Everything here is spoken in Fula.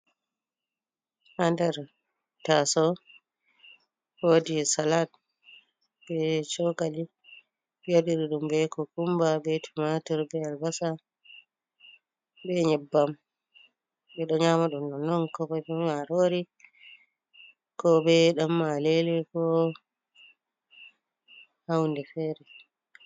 Ha ndar taso, wodi salat be cokali, ɓewaɗiri ɗum be kukumba, be tumatur, be albasa, be nyebbam ɓeɗo nyamadum non, non kobeemarori ko be dam malele, ko ha hunde fere.